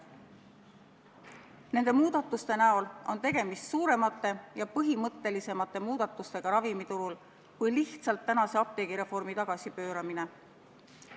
Nende muudatuste näol on tegemist suuremate ja põhimõttelisemate muudatustega ravimiturul kui lihtsalt plaanitud apteegireformi tagasipööramine.